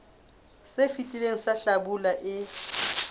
se fetileng sa hlabula e